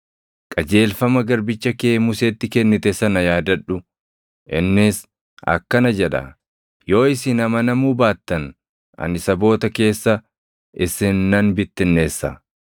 “Qajeelfama garbicha kee Museetti kennite sana yaadadhu; innis akkana jedha; ‘Yoo isin amanamuu baattan ani saboota keessa isin nan bittinneessa;